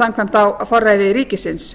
samkvæmt á forræði ríkisins